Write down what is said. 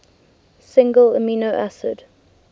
single amino acid